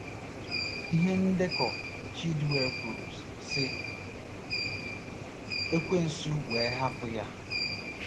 Ihe ndekọ Chidiew kwuru, sị: “ Ekwensu wee hapụ ya.”